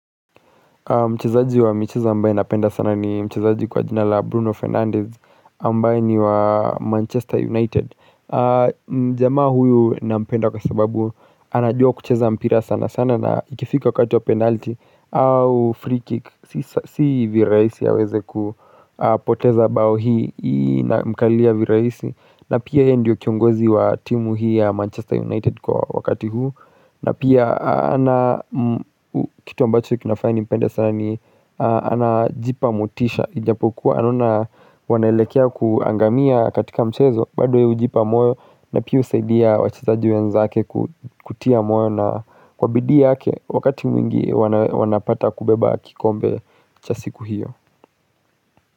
Mchezaaji wa michezo ambaye napenda sana ni mchezaaji kwa jinala Bruno Fernandez ambaye ni wa Manchester United. Mjamaa huyu nampenda kwa sababu anajua kucheza mpira sana sana na ikifika wakati wa penalty au free kick. Si viraisi aweze kupoteza bao hii na mkalia viraisi na pia ye ndio kiongozi wa timu hii ya Manchester United kwa wakati huu. Na pia kitu ambacho kinafanya nimpende sana ni anajipa motisha ijapokuwa anaona wanaelekea kuangamia katika mchezo bado yeye ujipa moyo na pia usaidia wachizaji wenzake kutia moyo na kwabidii yake Wakati mwingi wanapata kubeba kikombe chasiku hiyo.